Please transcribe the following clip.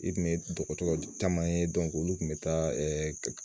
I kun ye dɔgɔtɔrɔ caman ye olu tun bɛ taa